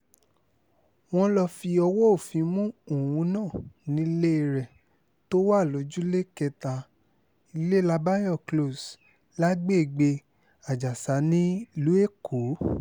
wọ́n lọ́ọ́ fọwọ́ òfin mú òun náà nílé rẹ̀ tó wà lọ́jọ́lẹ̀ kẹta ilélábáyò close lágbègbè ajásà nílùú èkó